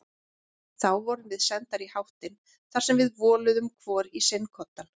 Þá vorum við sendar í háttinn þar sem við voluðum hvor í sinn koddann.